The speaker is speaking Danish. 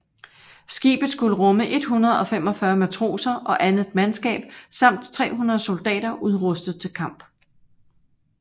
Skibet skulle rumme 145 matroser og andet mandskab samt 300 soldater udrustet til kamp